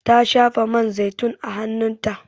Ta shafa man zaitun a hanun ta